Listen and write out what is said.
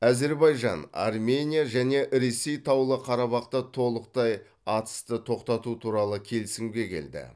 әзербайжан армения және ресей таулы қарабақта толықтай атысты тоқтату туралы келісімге келді